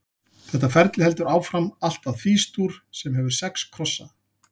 Þetta ferli heldur áfram allt að Fís-dúr, sem hefur sex krossa.